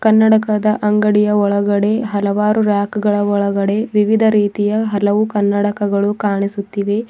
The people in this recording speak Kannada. ಕನ್ನಡಕದ ಅಂಗಡಿಯ ಒಳಗಡೆ ಹಲವಾರು ರಾಕ್ ಗಳ ಒಳಗಡೆ ವಿವಿಧ ರೀತಿಯ ಹಲವು ಕನ್ನಡಕಗಳು ಕಾಣಿಸುತ್ತಿವೆ.